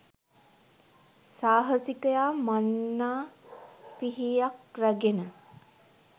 සාහසිකයා මන්නා පිහියක්‌ රැගෙන